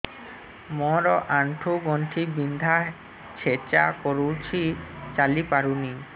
ମୋର ଆଣ୍ଠୁ ଗଣ୍ଠି ବିନ୍ଧା ଛେଚା କରୁଛି ଚାଲି ପାରୁନି